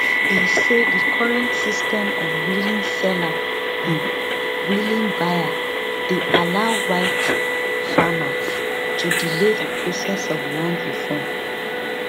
e say di current system of willing seller um willing buyer dey allow white farmers to delay di process of land reform